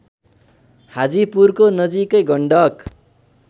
हाजीपुरको नजिकै गण्डक